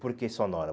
Por que sonora?